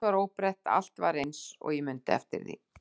Allt var óbreytt, allt var eins og ég mundi eftir því.